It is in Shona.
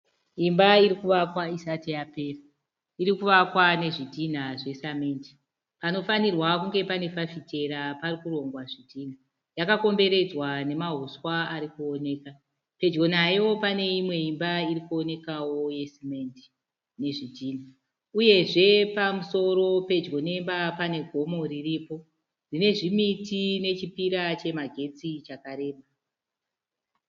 Imba irikuvakwa isati yapera, irikuvakwa nezvidhinha zvesamende. Panofanhirwa kunge paine fafitera parikurongwa zvidhinha . Yakakomberedzwa nemahuswa arikuoneka. Pedyo nayo pane imwe Imba irikuonekawo ye simendi ne zvidhinha. Uyezve pamusoro pedyo nemba pane gomo riripo. Rine zvimiti nechi pillar chemagetsi chakareba.